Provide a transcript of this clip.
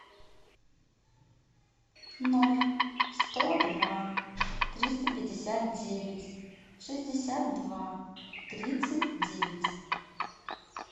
ноль сто два триста пятьдесят девять шестьдесят два тридцать девять